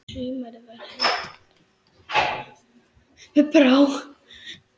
Sumarið var henni allt.